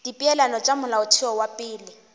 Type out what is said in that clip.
dipeelano tša molaotheo wa pele